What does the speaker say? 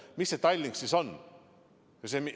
Aga mis see Tallink siis õigupoolest on?